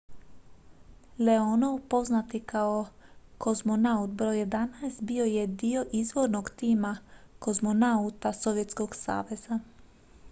"leonov poznat i kao "kozmonaut br. 11" bio je dio izvornog tima kozmonauta sovjetskog saveza.